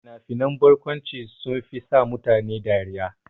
Fina-finan barkwanci sunfi sa mutane dariya.